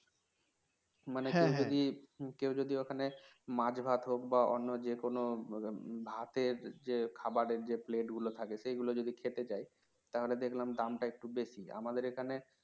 মানে যদি কেউ যদি ওখানে মাছ ভাত হোক বা অন্য যে কোনও ভাতের যে খাবারের যে plate গুলো থাকে সেগুলো যদি খেতে চায় তাহলে দেখলাম দামটা একটু বেশি আমাদের এখানে